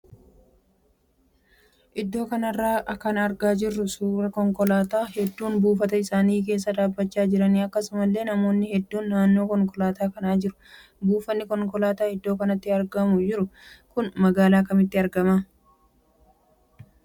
Iddoo kanarraa kan argaa jirru suuraa konkolaattonni hedduun buufata isaanii keessa dhaabbachaa jiraniidha. Akkasumallee namoonni hedduun naannoo konkolaataa kanaa jiru. Buufanni konkolaataa iddoo kanatti argamaa jiru kun magaala kamitti argama?